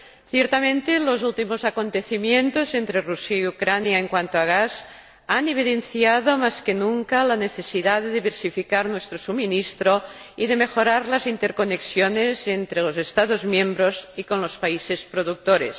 Ciertamente, los últimos acontecimientos entre Rusia y Ucrania en cuanto al gas han evidenciado más que nunca la necesidad de diversificar nuestro abastecimiento y de mejorar las interconexiones entre los Estados miembros y con los países productores.